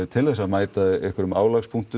til þess að mæta einhverju